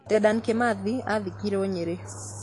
Dedan Kĩmathi athikirwo Nyĩrĩ